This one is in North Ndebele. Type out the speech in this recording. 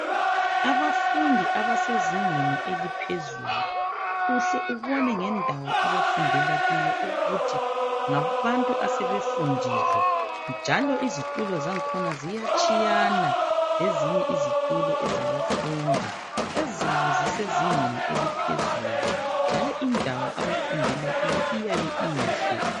Abafundi abasezingeni eliphezulu uhle ubone ngendawo abafundela kiyo ukuthi ngabantu asebefundile njalo izitulo zakhona ziyatshiyana lezinye izitulo ezabafundi ezabo zisezingeni eliphezulu njalo indawo abafundela kiyo iyabe inhle.